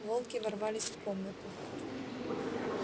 волки ворвались в комнату